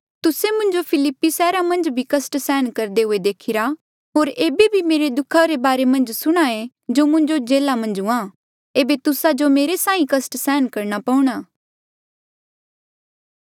तुस्से मुंजो फिल्लिपी सैहरा मन्झ भी कस्ट सहन करदे हुए देखीरा होर ऐबे भी मेरे दुखा रे बारे मन्झ सुणे जो मुंजो जेल्हा मन्झ हुआ ऐबे तुस्सा जो भी मेरे साहीं कस्ट सहन करणा पऊणा